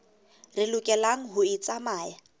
re lokelang ho e tsamaya